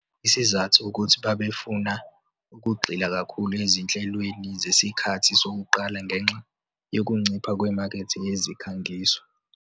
Isizathu ukuthi babefuna ukugxila kakhulu ezinhlelweni zesikhathi sokuqala ngenxa yokuncipha kwemakethe yezikhangiso.